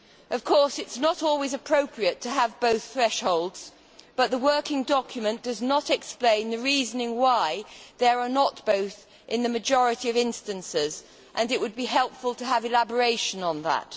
Of course it is not always appropriate to have both thresholds, but the working document does not explain the reasoning why there are not both in the majority of instances, and it would be helpful to have elaboration on that.